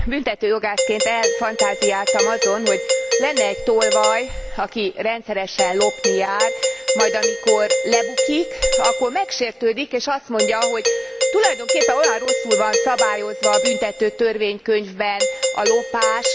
Büntetőjogászként elfantáziáltam azon, hogy lenne egy tolvaj, aki rendszeresen lopni jár, majd amikor lebukik, akkor megsértődik, és azt mondja, hogy tulajdonképpen olyan rosszul van szabályozva a büntetőtörvénykönyvben a lopás.